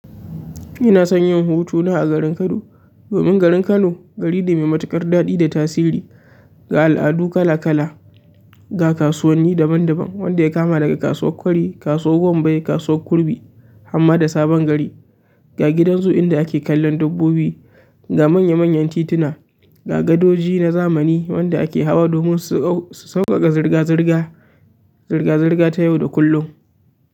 Ina son yin hutu na a garin Kano. Domin garin Kano, gari ne mai matuƙar daɗi da tasiri, ga al'adu kala-kala, ga kasuwanni daban-daban wanda ya kama daga kasuwar kwari, kasuwar wambai, kasuwar kurmi harma da sabon gari. Ga gidan zoo inda ake kallon dabbobi, ga manya manyan tituna, ga gadoji na zamani wanda ake hawa domin su sauƙaƙa zirga zirga, zirga zirga ta yau da kullum.